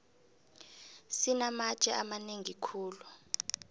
sinamatje amanengi khulu